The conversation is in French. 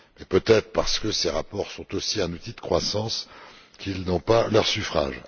Peut être parce que ces rapports sont aussi un outil de croissance n'ont ils pas leur suffrage.